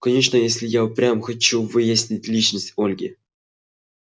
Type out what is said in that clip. конечно если я и впрямь хочу выяснить личность ольги